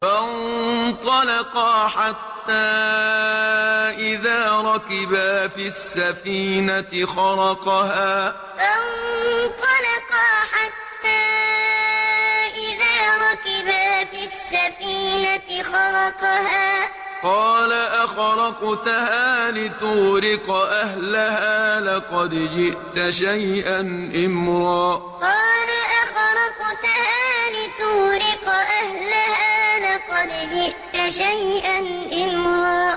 فَانطَلَقَا حَتَّىٰ إِذَا رَكِبَا فِي السَّفِينَةِ خَرَقَهَا ۖ قَالَ أَخَرَقْتَهَا لِتُغْرِقَ أَهْلَهَا لَقَدْ جِئْتَ شَيْئًا إِمْرًا فَانطَلَقَا حَتَّىٰ إِذَا رَكِبَا فِي السَّفِينَةِ خَرَقَهَا ۖ قَالَ أَخَرَقْتَهَا لِتُغْرِقَ أَهْلَهَا لَقَدْ جِئْتَ شَيْئًا إِمْرًا